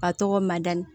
A tɔgɔ mada